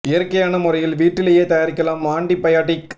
இயற்கையான முறையில் வீட்டிலேயே தயாரிக்கலாம் ஆன்டிபயாடிக்